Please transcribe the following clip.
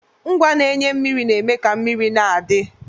Ngwa na-enye mmiri na-eme ka mmiri na-adi.